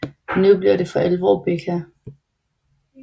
Nu bliver det alvor for Becca